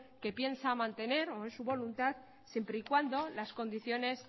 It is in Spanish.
que piensa mantener o es su voluntad siempre y cuando las condiciones